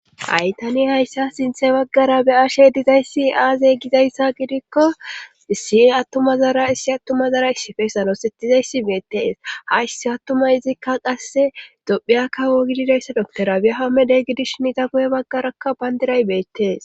haytani hayssa sinthe baggara be ashe dizayssi aazey gizayssa gidikko issi attumazara issi attumazara issifesano settizayssi meetteees ha issi attuma izikka qasse dophiya kawo gididayssa dokkora bi7ahamedey gidish nita kuye baggarakka bayndiray beettees